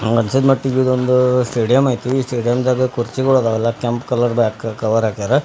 ನನಗೆ ಅನಿಸುಮಟ್ಟಿಗೆ ಇದು ಒಂದ್ ಸ್ಟೇಡಿಯಂ ಐತ್ರಿ ಸ್ಟೇಡಿಯಂ ನಾಗ ಕುರ್ಚಿಗಳ್ ಅದಾವ ಕೆಂಪ್ ಕಲರ್ ದಕ್ ಕವರ್ ಹಾಕ್ಯಾರ.